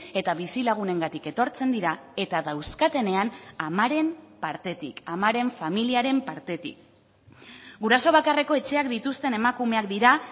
eta bizilagunengatik etortzen dira eta dauzkatenean amaren partetik amaren familiaren partetik guraso bakarreko etxeak dituzten emakumeak dira